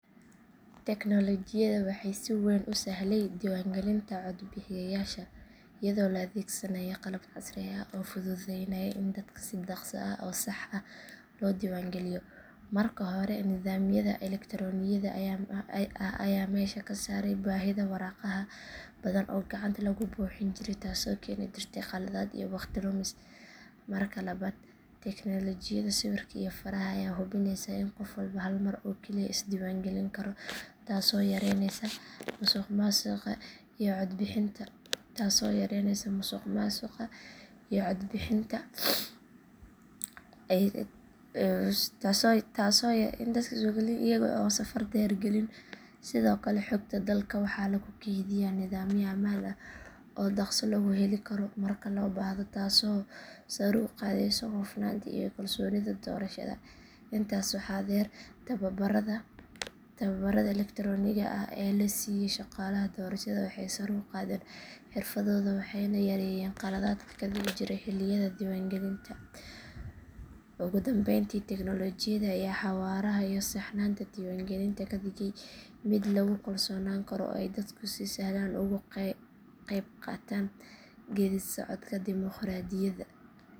Teknoolajiyadu waxay si weyn u sahlay diiwaangelinta codbixiyeyaasha iyadoo la adeegsanayo qalab casri ah oo fududeynaya in dadka si dhakhso ah oo sax ah loo diiwaangeliyo. Marka hore, nidaamyada elektaroonigga ah ayaa meesha ka saaray baahida waraaqaha badan oo gacanta lagu buuxin jiray taasoo keeni jirtay qaladaad iyo waqti lumis. Marka labaad, tiknoolajiyada sawirka iyo faraha ayaa hubinaysa in qof walba hal mar oo kaliya is diiwaangelin karo taasoo yareyneysa musuqmaasuqa iyo codbixin ku celiska. Marka saddexaad, diiwaangelinta meel fog fog waxaa suurto galiyey taleefannada casriga ah iyo aaladaha internetka kuwaas oo u saamaxaya dadka in ay iska diiwaangeliyaan iyaga oo aan safar dheer galin. Sidoo kale xogta dadka waxaa lagu kaydiyaa nidaamyo ammaan ah oo dhakhso loogu heli karo marka la baahdo taasoo sare u qaadaysa hufnaanta iyo kalsoonida doorashada. Intaas waxaa dheer, tababarrada elektaroonigga ah ee la siiyo shaqaalaha doorashada waxay sare u qaadeen xirfadooda waxayna yareeyeen khaladaadka ka dhici jiray xilliyada diiwaangelinta. Ugu dambeyntii, tiknoolajiyada ayaa xawaaraha iyo saxnaanta diiwaangelinta ka dhigtay mid lagu kalsoonaan karo oo ay dadku si sahlan uga qaybqaataan geedi socodka dimuqraadiyadda.